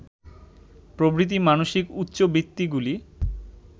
প্রভৃতি মানসিক উচ্চবৃত্তিগুলি